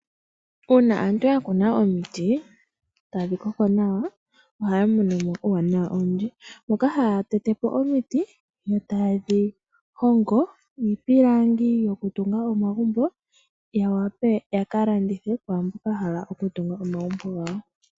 Uuna aantu ya kuna omiti tadhi koko nawa ohya monomo uuwanawa owundji, moka haya tetepo omiti yo taye dhi hongo iipilangi yoku tunga omagumbo yawape yaka landithe kwaamboka haku tungwa omagumbo gawo.